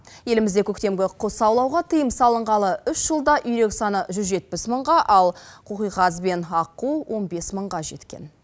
елімізде көктемгі құс аулауға тыйым салынғалы үш жылда үйрек саны жүз жетпіс мыңға ал қоқиқаз бен аққу он бес мыңға жеткен